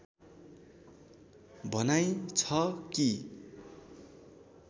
भनाइ छ कि